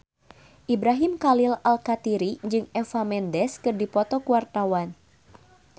Ibrahim Khalil Alkatiri jeung Eva Mendes keur dipoto ku wartawan